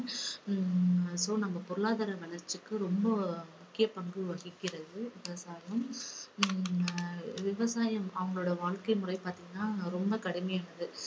ஹம் so நம்ம பொருளாதார வளர்ச்சிக்கு ரொம்ப முக்கிய பங்கு வகிக்கிறது விவசாயம். ஹம் விவசாயம் அவங்களுடைய வாழ்க்கை முறை பாத்தீங்கன்னா ரொம்ப கடுமையானது.